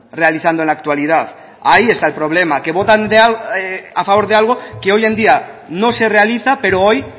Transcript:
realizando en la actualidad ahí está el problema que votan a favor de algo que hoy en día no se realiza pero hoy